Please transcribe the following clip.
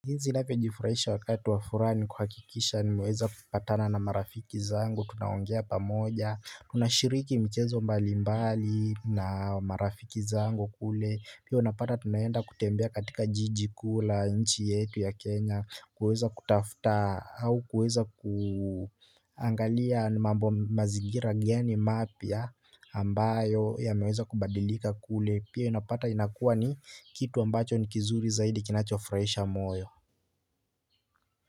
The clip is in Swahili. Jinsi navyo jifurahisha wakati wafuraha ni kuhakikisha ni meweza kupatana na marafiki zangu, tunaongea pamoja, tunashiriki michezo mbalimbali na marafiki zangu kule, pia unapata tunaenda kutembea katika jiji kula, nchi yetu ya Kenya, kuweza kutafuta, au kuweza kuangalia mambo, mazingira gani mapya ambayo ya meweza kubadilika kule, pia inapata inakuwa ni kitu ambacho ni kizuri zaidi kinachofurahisha moyo.